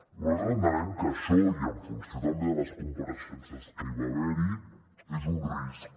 nosaltres entenem que això i en funció també de les compareixences que hi va haver és un risc